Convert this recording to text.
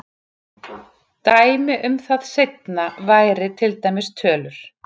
Dæmi um það seinna væri til dæmis tölur.